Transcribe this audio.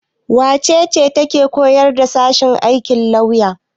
Wace ce take koyarwa a sashen aikin lauya?